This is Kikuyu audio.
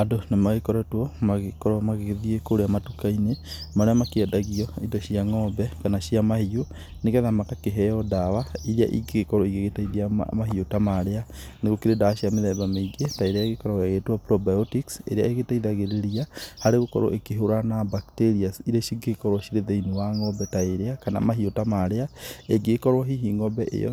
Andũ nĩmagĩkoretwo magĩkorwo magĩthiĩ kũrĩa matuka-inĩ marĩa mangĩendagia indo cia ng'ombe kana cia mahiũ, nĩgetha magakĩheo ndawa irĩa ĩngĩkorwo igĩteithia mahiũ ta marĩa, nĩgũkĩrĩ ndawa cia mĩthemba mingĩ ta irĩa ĩkoragwo ĩgĩtwo probiotic ĩrĩa ĩgĩteithagĩrĩria harĩ gũkorwo ũkĩhũrana na bacteria irĩa cingĩkorwo cirĩ thĩiniĩ wa ng'ombe ta ĩrĩa, kana mahiũ ta marĩa, ĩngĩgĩkorwo hihi ng'ombe ĩ yo